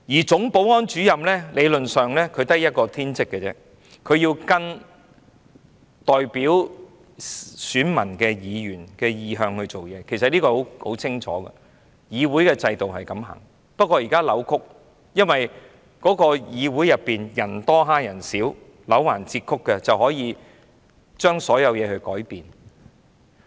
總保安主任理論上只有一個天職，便是按照代表選民的議員的意向做事，其實這是很清楚，議會的制度本是這樣，不過現在扭曲了，因為議會內以多欺少，"戾橫折曲"的便可以把所有事情改變。